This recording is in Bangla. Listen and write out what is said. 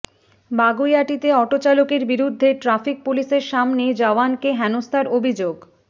বাগুইআটিতে অটোচালকের বিরুদ্ধে ট্রাফিক পুলিশের সামনেই জওয়ানকে হেনস্থার অভিযোগ